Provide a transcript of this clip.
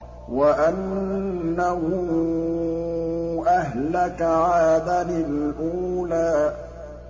وَأَنَّهُ أَهْلَكَ عَادًا الْأُولَىٰ